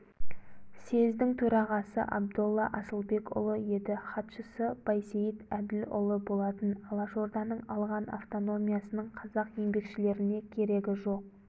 съездің төрағасы абдолла асылбекұлы еді хатшысы байсейіт әділұлы болатын алашорданың алған автономиясының қазақ еңбекшілеріне керегі жоқ